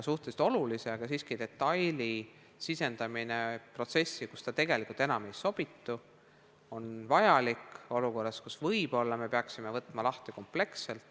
– suhteliselt olulise, aga siiski detaili sisendamine protsessi, kuhu ta tegelikult enam ei sobitu, on vajalik olukorras, kus me peaksime võib-olla seaduse lahti võtma kompleksselt.